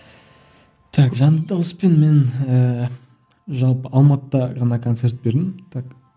так жанды дауыспен мен ііі жалпы алматыда ғана концерт бердім так